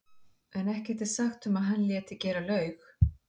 en ekkert er sagt um að hann léti gera laug.